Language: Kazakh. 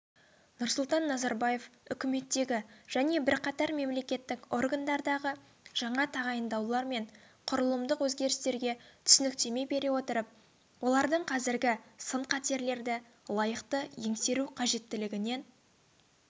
нұрсұлтан назарбаев үкіметтегі және бірқатар мемлекеттік органдардағы жаңа тағайындаулар мен құрылымдық өзгерістерге түсініктеме бере отырып олардың қазіргі сын-қатерлерді лайықты еңсеру қажеттілігінен